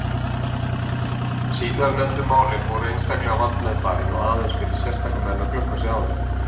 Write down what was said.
Síðarnefndu málin voru einstaklega vandmeðfarin og aðeins fyrir sérstaka menn að glöggva sig á þeim.